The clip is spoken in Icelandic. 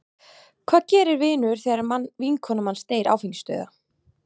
Hvað gerir vinur þegar vinkona manns deyr áfengisdauða??